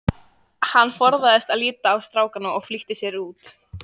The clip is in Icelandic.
Hann forðaðist að líta á strákana og flýtti sér út.